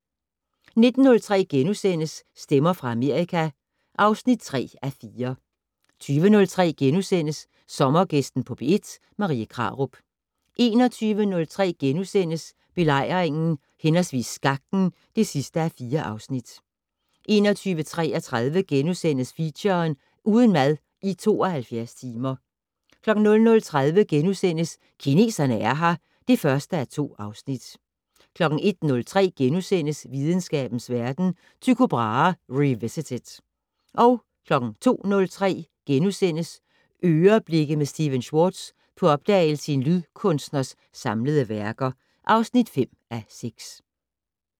19:03: Stemmer fra Amerika (3:4)* 20:03: Sommergæsten på P1: Marie Krarup * 21:03: Belejringen/Skakten (4:4)* 21:33: Feature: Uden mad i 72 timer * 00:30: Kineserne er her (1:2)* 01:03: Videnskabens Verden: Tycho Brahe revisited * 02:03: "Øreblikke" med Stephen Schwartz - på opdagelse i en lydkunstners samlede værker (5:6)*